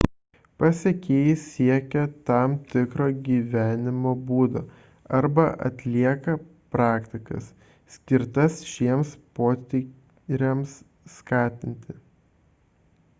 pasekėjai siekia tam tikro gyvenimo būdo arba atlieka praktikas skirtas šiems potyriams skatinti